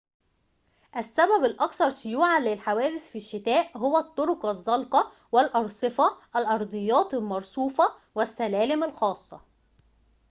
السبب الأكثر شيوعاً للحوادث في الشتاء هو الطرق الزلقة والأرصفة الأرضيات المرصوفة والسلالم الخاصة